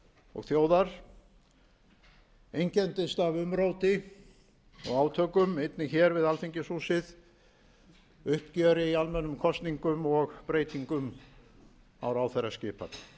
og þjóðar einkenndist af umróti og átökum einnig hér við alþingishúsið uppgjöri í almennum kosningum og breytingum á ráðherraskipan